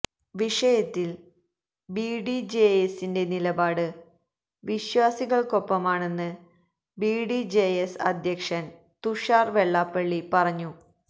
വിഷയത്തിൽ ബിഡിജെഎസിന്റെ നിലപാട് വിശ്വാസികള്ക്കൊപ്പമാണെന്ന് ബിഡിജെഎസ് അധ്യക്ഷൻ തുഷാര് വെള്ളാപ്പള്ളി പറഞ്ഞു